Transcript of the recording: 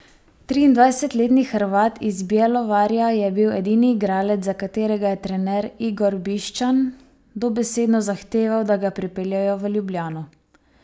Triindvajsetletni Hrvat iz Bjelovarja je bil edini igralec, za katerega je trener Igor Bišćan dobesedno zahteval, da ga pripeljejo v Ljubljano.